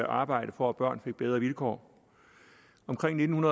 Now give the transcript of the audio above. arbejde for at børn fik bedre vilkår omkring nitten